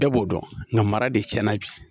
Bɛɛ b'o dɔn nga mara de cɛn na bi